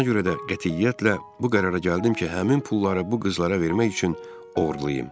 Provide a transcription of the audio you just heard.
Buna görə də qətiyyətlə bu qərara gəldim ki, həmin pulları bu qızlara vermək üçün oğurlayım.